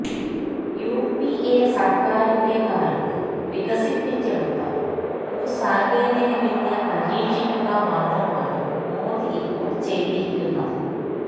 UPA സർക്കാരിന്റെ കാലത്ത് വികസിപ്പിച്ചെടുത്ത ഒരു സാങ്കേതികവിദ്യ പരീക്ഷിക്കുക മാത്രമാണ് മോദി ഇപ്പോൾ ചെയ്തിരിക്കുന്നത്